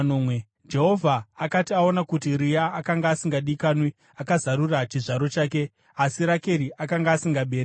Jehovha akati aona kuti Rea akanga asingadikanwi, akazarura chizvaro chake, asi Rakeri akanga asingabereki.